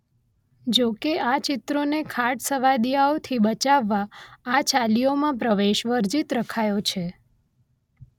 જોકે આ ચિત્રોને ખાટસવાદીયાઓથી બચાવવા આ ચાલીઓમાં પ્રવેશ વર્જિત રખાયો છે